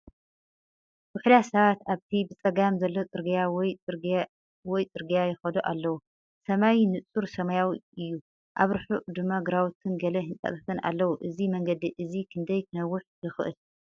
ውሑዳት ሰባት ኣብቲ ብጸጋም ዘሎ ጽርግያ ወይ ጽርግያ ይኸዱ ኣለዉ። ሰማይ ንጹር ሰማያዊ እዩ። ኣብ ርሑቕ ድማ ግራውትን ገለ ህንጻታትን ኣለዉ። እዚ መንገዲ እዚ ክንደይ ክነውሕ ይኽእል?